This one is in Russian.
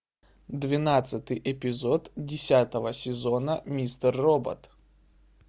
двенадцатый эпизод десятого сезона мистер робот